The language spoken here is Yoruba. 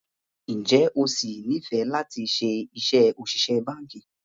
Ǹjẹ́ o sì nifẹ lati ṣe iṣẹ́ òṣìṣẹ́ báńkì?